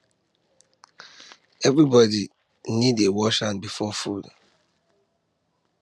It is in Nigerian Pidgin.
everybody need dey wash hand before food time